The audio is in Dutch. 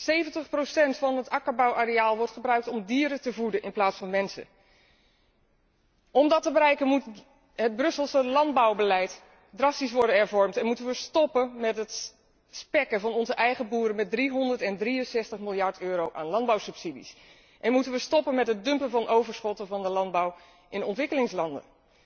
70 van het akkerbouwareaal wordt gebruikt om dieren te voeden in plaats van mensen. Om dat te bereiken moet het Brusselse landbouwbeleid drastisch worden hervormd en moeten wij stoppen met het spekken van onze eigen boeren met 363 miljard euro aan landbouwsubsidies, moeten wij stoppen met het dumpen van overschotten van de landbouw in ontwikkelingslanden.